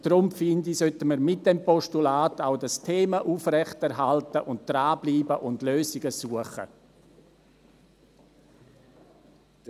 Deshalb finde ich, dass wir mit diesem Postulat auch dieses Thema aufrechterhalten, dranbleiben und Lösungen suchen sollten.